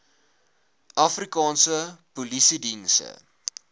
afrikaanse polisiediens se